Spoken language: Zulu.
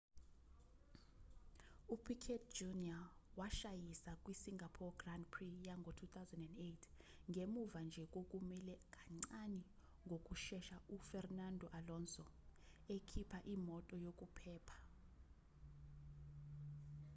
u-piquet jr washayisa kwi singapore grand prix yango-2008ngemuva nje kokumela kancane ngokushesha u-fernando alonso ekhipha imoto yokuphepha